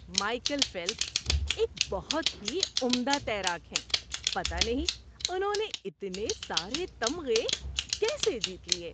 Michael Phelps ایک بہت ہی عمدہ تیراک ہیں۔ پتہ نہیں انہوں نے اتنے سارے تمغے کیسے جیت لیے!